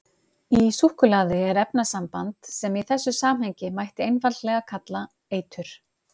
Í súkkulaði er efnasamband sem í þessu samhengi mætti einfaldlega kalla eitur.